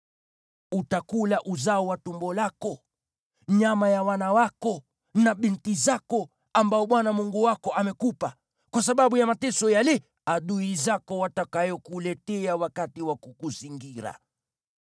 Utakula uzao wa tumbo lako, nyama ya wana wako na binti zako ambao Bwana Mungu wako amekupa, kwa sababu ya mateso yale adui zako watakayokuletea wakati wa kukuzingira.